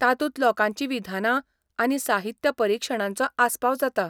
तातूंत लोकांची विधानां आनी साहित्य परिक्षणांचो आसपाव जाता.